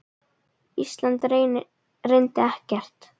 Ísland reyndi ekkert.